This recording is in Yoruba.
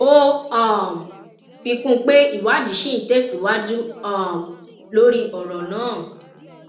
ó um fi kún pé ìwádìí ṣì ń tẹsíwájú um lórí ọrọ náà